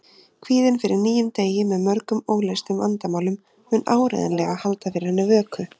Kvíðinn fyrir nýjum degi með mörgum óleystum vandamálum mun áreiðanlega halda fyrir henni vöku.